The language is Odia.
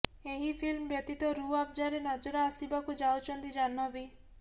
ଏହି ଫିଲ୍ମ ବ୍ୟତୀତ ରୁହ୍ ଆଫ୍ଜାରେ ନଜର ଆସିବାକୁ ଯାଉଛନ୍ତି ଜାହ୍ନବୀ